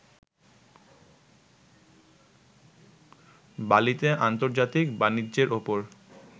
বালিতে আন্তর্জাতিক বাণিজ্যের ওপর